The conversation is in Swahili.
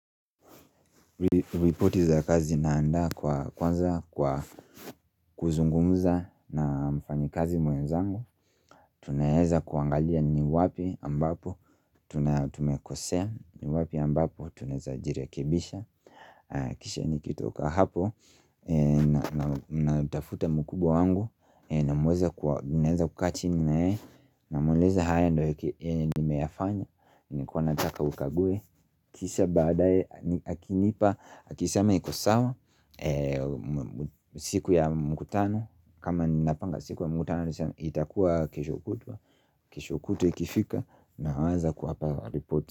Reporti za kazi zinanda kwa kwanza kwa kuzungumuza na mfanyikazi mwenzangu Tunaeza kuangalia ni wapi ambapo tunatumekosea ni wapi ambapo tunaweza jirekebisha Kisha nikitoka hapo na nitafute mkubwa wangu naweza kukaa chini na yeye Namweleza haya ndo yenimeyafanya nilikuwa nataka ukague. Kisha baadae akinipa akisema iko sawa siku ya mkutano kama napanga siku ya mkutano itakuwa kesho kutwa kesho kutwa ikifika, nawaza kuapaa ripoti.